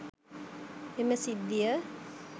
එම සිද්ධිය